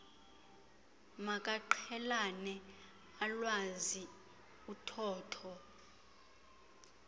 makaqhelane alwazi uthotho